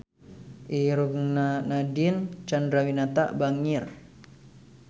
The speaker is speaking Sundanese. Irungna Nadine Chandrawinata bangir